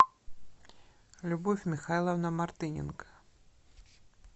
любовь михайловна мартыненко